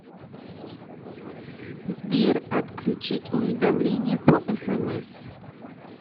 сбер отключить уведомления по смс